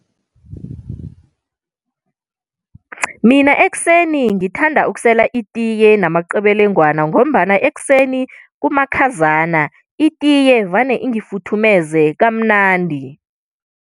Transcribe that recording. Mina ekuseni ngithanda ukusela itiye namaqebelengwana, ngombana ekuseni kumakhazana, itiye vane ingifuthumeze kamnandi.